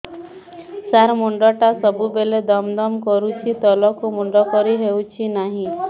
ସାର ମୁଣ୍ଡ ଟା ସବୁ ବେଳେ ଦମ ଦମ କରୁଛି ତଳକୁ ମୁଣ୍ଡ କରି ହେଉଛି ନାହିଁ